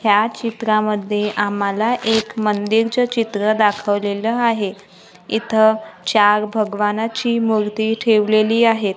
ह्या चित्रांमध्ये आम्हाला एक मंदिर च चित्र दाखवलेलं आहे इथं चार भगवानची मूर्ती ठेवलेली आहेत.